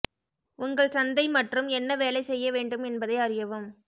உங்கள் சந்தை மற்றும் என்ன வேலை செய்ய வேண்டும் என்பதை அறியவும்